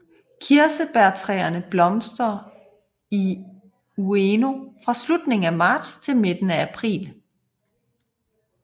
Kirsebærtræerne blomstrer i Ueno fra slutningen af marts til midten af april